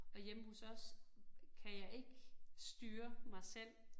Og hjemme hos os kan jeg ikke styre mig selv